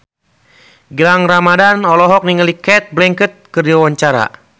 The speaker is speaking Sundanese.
Gilang Ramadan olohok ningali Cate Blanchett keur diwawancara